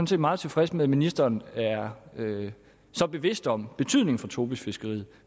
set meget tilfreds med at ministeren er så bevidst om betydningen for tobisfiskeriet